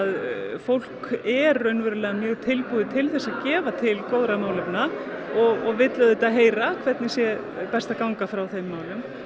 fólk er raunverulega mjög tilbúið til að gefa til góðra málefna og vill auðvitað heyra hvernig sé best að ganga frá þeim málum